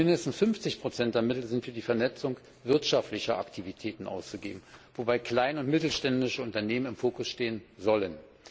Und mindestens 50 der Mittel sind für die Vernetzung wirtschaftlicher Aktivitäten auszugeben, wobei kleine und mittelständische Unternehmen im Fokus stehen sollen.